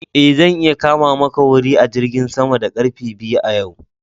E, zan iya kama maka wuri a jirgin sama da karfe biyu yau.